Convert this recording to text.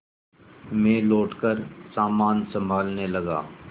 मैं लौटकर सामान सँभालने लगा